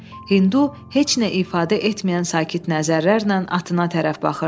Hindu heç nə ifadə etməyən sakit nəzərlərlə atına tərəf baxırdı.